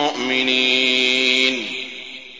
مُّؤْمِنِينَ